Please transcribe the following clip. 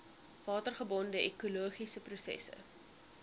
watergebonde ekologiese prosesse